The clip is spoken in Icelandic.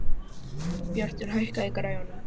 Bjartur, hækkaðu í græjunum.